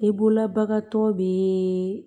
I bolola bagan tɔ bɛ